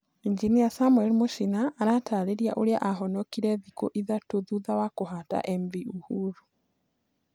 Injinia samuel mũchina Arataarĩria ũrĩa aahonokire thikũ ithatũ thutha wa kũhata MV Uhuru?